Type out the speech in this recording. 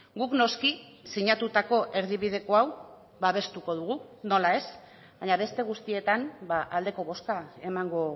guk noski sinatutako erdibideko hau babestuko dugu nola ez baina beste guztietan aldeko bozka emango